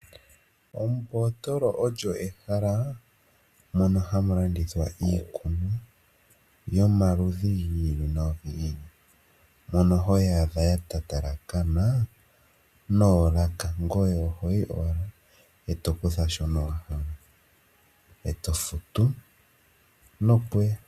Ombotolo olyo ehala mono hamu landithwa iikunwa yomaludhi gi ili nogi ili. Mono hoyi adha yatatalakana noolaka ngoye ohoyi owala etokutha shono wahala etofutu nokuya.